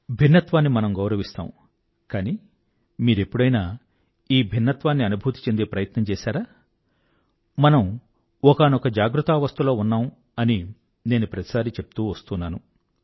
భిన్నత్వాన్ని మనం గౌరవిస్తాం కానీ మీరెప్పుడైనా ఈ భిన్నత్వాన్ని అనుభూతి చెందే ప్రయత్నం చేసారా మనం ఒకానొక జాగృతావస్థలో ఉన్నాం అని నేను ప్రతిసారీ చెప్తూ వస్తున్నాను